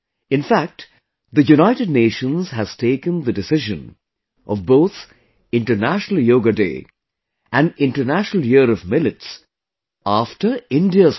In fact, the United Nations has taken the decision of both International Yoga Day and International Year of Millets after India's proposal